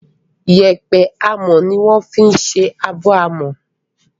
Yépẹ́ amọ́ ni wọ́n fi ń ṣe abọ́ àmọ́